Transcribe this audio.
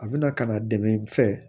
A bɛna ka na dɛmɛ i fɛ